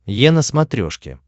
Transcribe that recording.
е на смотрешке